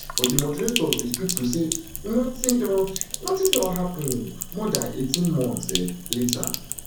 but di moderators we speak to say nothing don nothing don happen more dan eighteen months um later